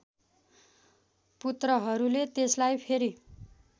पुत्रहरूले त्यसलाई फेरि